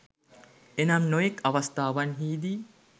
එනම් නොයෙක් අවස්ථාවන්හිදී